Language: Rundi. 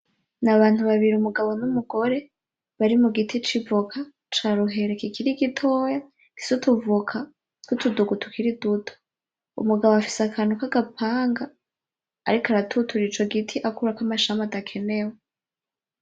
Na bantu babiri, umugabo n'umugore bari mugiti c'ivoka ca ruheri kikiri gitoyi gifise utuvoka tw'utudugu tukiri duto, umugabo afise akantu kagapanga ariko aratuturira ico giti akurako amashami adakenewe